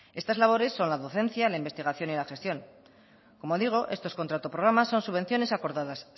estas labores son la docencia la investigación y la gestión como digo estos contrato programa son subvenciones acordadas